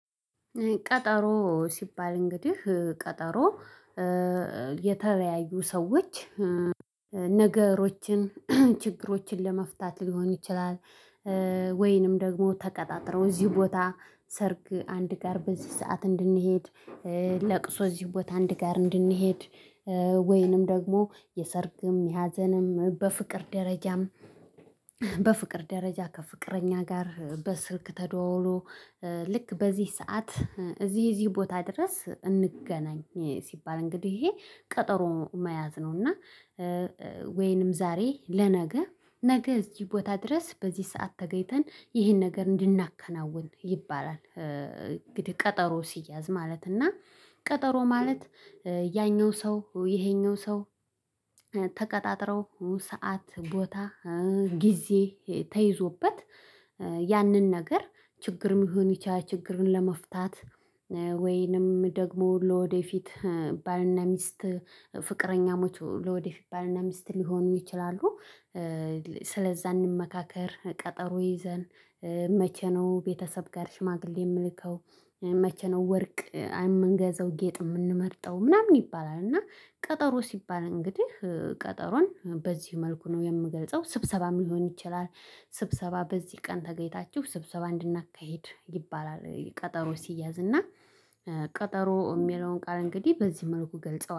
ቀጠሮ ሲባል እንግዲህ ቀጠሮ የተለያዩ ሰዎች ነገሮችን ችግሮችን ለመፍታት ሊሆን ይችላል። ወይንም ደግሞ ተቀጣጥረው እዚህ ቦታ ሰርግ አንድ ጋር በዚህ ሰዓት እንድንሄድ ለቅሶ እዚህ ቦታ አንድ ጋር እንድንሄድ ወይንም ደግሞ የሰርግም የሀዘንም በፍቅር ደረጃም። በፍቅር ደረጃ ከፍቅረኛ ጋር በስልክ ተደዋውሎ ልክ በዚህ ሰዓት እዚህ እዚህ ቦታ ድረስ እንገናኝ ሲባል እንግዲህ ይሄ ቀጠሮ መያዝ ነውና። እና ወይንም ዛሬ ለነገ ነገ እዚህ ቦታ ድረስ በዚህ ሰዓት ተገይተን ይሄን ነገር እንድናከናውን ይባላል። እንግዲህ ቀጠሮ ሲያዝ ማለት እና ቀጠሮ ማለት። ያኛው ሰው ይሄኛው ሰው ተቀጣጥረው ሰዓት ቦታ ጊዜ ተይዞበት። ያንን ነገር ችግርም ሊሆን ይችላል ችግርን ለመፍታት። ወይንም ደግሞ ለወደፊት ባልና ሚስት ፍቅረኛሞች ለወደፊት ባልና ሚስት ሊሆኑ ይችላሉ። ስለዛ እንመካከር ቀጠሮ ይዘን መቼ ነው ቤተሰብ ጋር ሽማግሌ የምልከው መቼ ነው ወርቅ የምንገዘው ጌጥ የምንመርጠው ምናምን ይባላል። እና ቀጠሮ ሲባል እንግዲህ ቀጠሮን በዚህ መልኩ ነው የምገልጸው። ስብሰባ ሊሆን ይችላል። ስብሰባ በዚህ ቀን ተገይታችሁ ስብሰባ እንድናካሂድ ይባላል ቀጠሮ ሲያዝ እና ቀጠሮ የሚለውን ቃል እንግዲህ በዚህ መልኩ ገልጸዋል